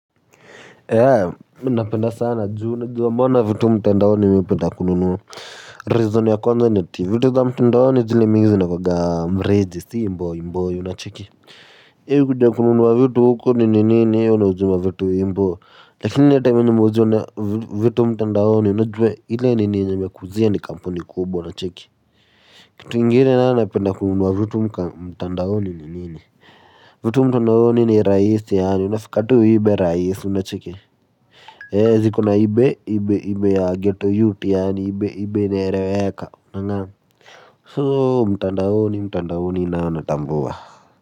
Hea, mimi napenda sana juu unajua mbona vitu mtandaoni mi hupenda kununua Reason ya kwanza ni ati, vitu za mtandaoni jili mi zinakuwaga mreji si imbo imbo unacheki. Heri badala ya kununua vitu huko nini nini unauziwa vitu imbo. Lakini hata mi nimeuzwa na vitu mtandaoni najua ile nini yenye imekuuzia ni kampuni kubwa unacheki. Kitu ingine nayo napenda kununua vitu mtandaoni nini nini. Vitu mtandaoni ni rahisi yaani, unafika tu ibe rahisi unacheki ziko na ibe ibe ibe ya geto yuti yaani ibe ibe inaereweka soo mtandaoni mtandaoni nayo natambua.